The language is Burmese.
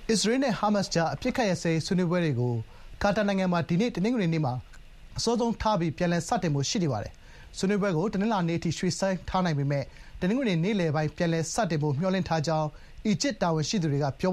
အစ္စရေးနဲ့ ဟားမတ်စ်ကြား အပစ်အခတ်ရပ်စဲရေး ဆွေးနွေးပွဲတွေကို ကာတာနိုင်ငံမှာ ဒီနေ့ တနင်္ဂနွေနေ့မှာ အစောဆုံးထားပြီး ပြန်လည်စတင်ဖို့ ရှိနေပါတယ်။ ဆွေးနွေးပွဲကို တနင်္လာနေ့အထိ ရွှေ့ဆိုင်းထားနိုင်ပေမယ့် တနင်္ဂနွေ နေ့လယ်ပိုင်း ပြန်လည်စတင်ဖို့ မျှော်လင့်ထားကြောင်း အီဂျစ်တာဝန်ရှိသူတွေက ပြော